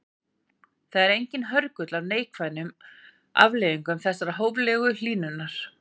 Það er enginn hörgull á öðrum neikvæðum afleiðingum þessarar hóflegu hlýnunar.